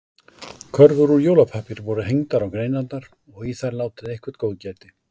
Körfur úr jólapappír voru hengdar á greinarnar og í þær látið eitthvert góðgæti.